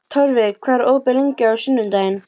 Torfi, hvað er opið lengi á sunnudaginn?